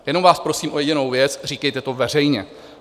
Jenom vás prosím o jedinou věc, říkejte to veřejně.